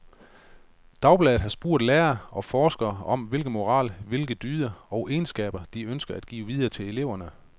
Dagbladet har spurgt lærere og forskere om, hvilken moral, hvilke dyder og egenskaber, de ønsker at give videre til eleverne.